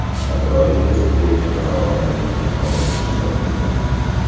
Takroriy test bo‘yicha qarorni bugun qabul qilishar ekan.